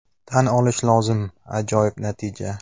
Tan olish lozim, ajoyib natija!